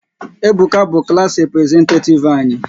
Ebuka bụ klass representetativ anyị